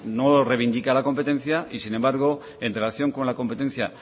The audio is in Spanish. no reivindica la competencia y sin embargo en relación con la competencia